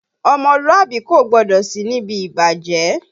Ọmọlúàbí kò gbọdọ̀ sí níbi ìbàjẹ́